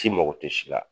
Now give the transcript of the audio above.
K'i mago tɛ si la